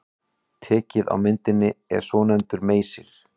Tækið á myndinni er svonefndur meysir.